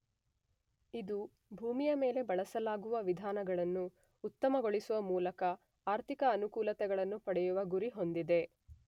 ಇದು ಭೂಮಿಯ ಮೇಲೆ ಬಳಸಲಾಗುವ ವಿಧಾನಗಳನ್ನು ಉತ್ತಮಗೊಳಿಸುವ ಮೂಲಕ ಆರ್ಥಿಕ ಅನುಕೂಲತೆಗಳನ್ನು ಪಡೆಯುವ ಗುರಿ ಹೊಂದಿದೆ.